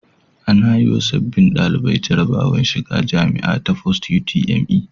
Ana yiwa sababbin ɗalibai jarabawar shiga jamia ta post UTME